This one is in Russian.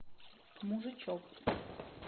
мужичок